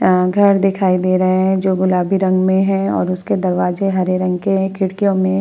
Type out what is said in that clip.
अ घर दिखाई दे रहे है जो गुलाबी रंग में है और उसके दरबाजे हरे रंग के है खिड़कियो में --